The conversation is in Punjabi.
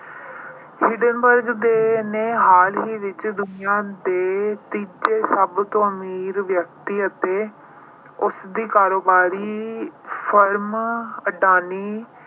Hindenburg ਦੇ, ਨੇ ਹਾਲ ਹੀ ਵਿੱਚ ਦੁਨੀਆਂ ਦੇ ਤੀਜੇ ਸਭ ਤੋਂ ਅਮੀਰ ਵਿਅਕਤੀ ਅਤੇ ਉਸਦੀ ਕਾਰੋਬਾਰੀ firm ਅਡਾਨੀ